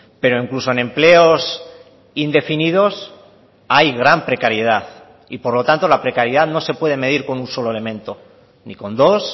pero incluso en empleos indefinidos hay gran precariedad y por lo tanto la precariedad no se puede medir con un solo elemento ni con dos